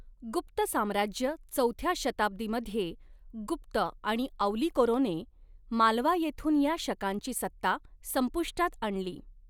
गुप्त साम्राज्य चौथ्या शताब्दीमध्ये गुप्त आणि औलिकरोने मालवा येथुन या शकांची सत्ता संपुष्टात आणली.